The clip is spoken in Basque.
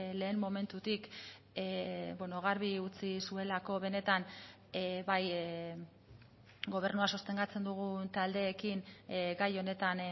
lehen momentutik garbi utzi zuelako benetan bai gobernua sostengatzen dugun taldeekin gai honetan